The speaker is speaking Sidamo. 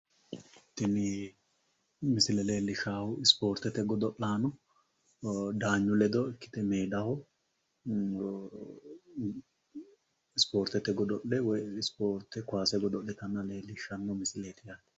Tini misile leellishshaahu ispoortete godo'laano daanyu ledo ikkite mitteenni meedaho ispoortete godo'le woyi ispoorte kowaase godo'litanna leellishshanno misileeti.